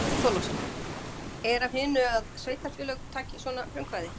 Björn Þorláksson: Er af hinu að sveitarfélög taki svona frumkvæði?